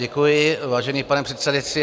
Děkuji, vážený pane předsedající.